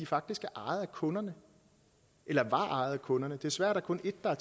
faktisk ejet af kunderne eller var ejet af kunderne desværre kun et af